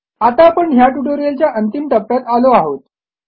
आता आपण ह्या ट्युटोरियलच्या अंतिम टप्प्यात आलो आहोत